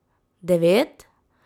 Devet?